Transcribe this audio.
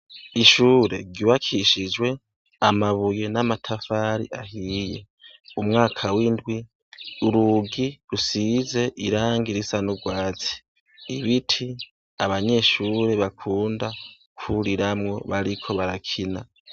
Ishure ryubakishijwe amabuye n'amatafari ahiye. Umwaka w'indwi, urugi rusize irangi risa n'urwatsi. Ibiti abanyeshure bakunda kwuriramwo bariko barakina.